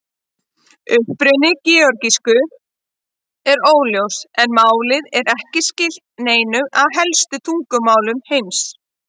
Uppruni georgísku er óljós en málið er ekki skylt neinum af helstu tungumálum heims.